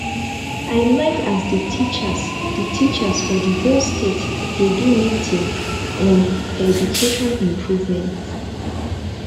i like as the teachers the teachers for the whole state dey do meeting on education improvements